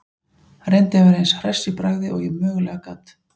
Reyndi að vera eins hress í bragði og ég mögulega gat.